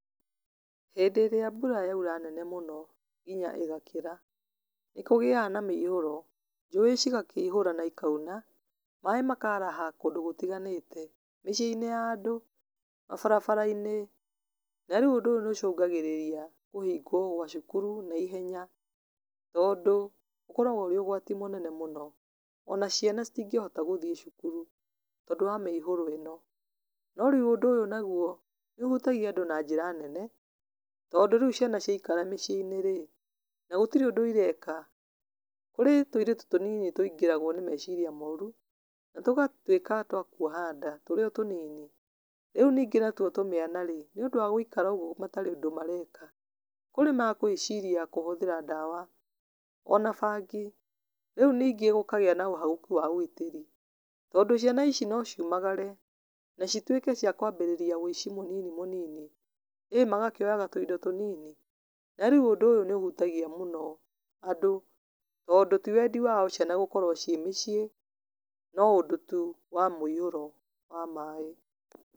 Hĩndĩ ĩrĩa mbura yaura nene mũno, nginya ĩgakĩra, nĩkũgĩaga na mĩihũro, njũĩ cigakĩihũra na cikauna, maĩ makaraha kũndũ gũtiganĩte, mĩcinĩ ya andũ, mabarabarainĩ, na rĩũ ũndũ ũyũ nĩũcungagĩrĩria kũhingwo gwa cukuru na ihenya, tondũ ũkoragwo wĩ ũgwati mũnene mũno, ona ciana citingĩhota gũthiĩ cukuru, tondũ wa mĩihũro ĩno. No rĩũ ũndũ ũyũ naguo nĩũhutagia andũ na njĩra nene, tondũ rĩũ ciana ciakara mĩciĩinĩ rĩ, na gũtirĩ ũndũ ireka, kũrĩ tũirĩtu tũnini tũingĩragwo nĩ meciria moru, na tũgatuĩka twa kuoha nda tũrĩ o tũnini. Rĩũ ningĩ natuo tũmĩana rĩ, nĩũndũ wa gũikara ũguo matarĩ ũndũ mareka, kũrĩ magwĩciria kũhũthĩra ndawa, ona bangi, rĩũ ningĩ gũkagĩa na ũhagũku wa ũgitĩri, tondũ ciana ici no ciumagare, na cituĩke cia kũambĩrĩria wiici mũnini mũnini, ĩ magakĩoyaga tũindo tũnini, narĩũ ũndũ ũyũ nĩũhutagia mũno andũ tondũ ti wendi wao ciana gũkorwo ciĩ mũciĩ, no ũndũ tu wa mũiũro wa maĩ.